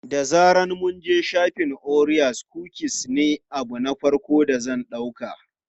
Da zaran mun je shafin, orea kukis ne abu na farko da zan ɗauka.